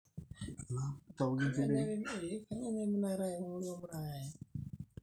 hakikisha keisafi uwueji niwokunye enkare, taaku safi na nibak enkare niwok